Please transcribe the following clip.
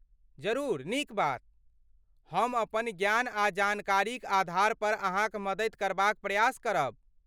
जरूर, नीक बात। हम अपन ज्ञान आ जानकारीक आधारपर अहाँक मददि करबाक प्रयास करब।